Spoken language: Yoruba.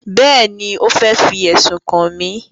Bẹ́ẹ̀ni, ó fẹ́ fi ẹ̀sùn kàn mí